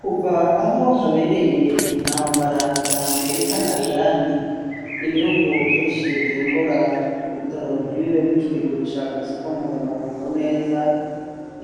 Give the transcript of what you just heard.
kuva aho habereye intambara ya amerika na iran ibihugu vyinshi vyimbura ibitoro nt'ibibe bikibigurisha kw' isoko mpuzamakungu neza